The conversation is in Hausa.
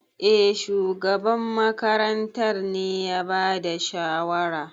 Eh, shugaban makarantar ne ya bada shawara.